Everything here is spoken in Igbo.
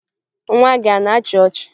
Nwa gị a na-achị ọchị?